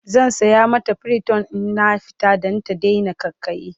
zan saya mata priton in na fita Dan ta Daina ƙaiƙayi